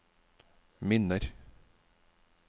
minner